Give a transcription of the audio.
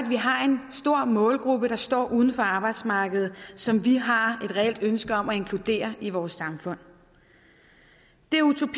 vi har en stor målgruppe der står uden for arbejdsmarkedet og som vi har et reelt ønske om at inkludere i vores samfund det er utopi